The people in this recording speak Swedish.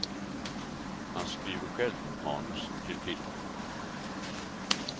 Han skriver själv manus till filmen.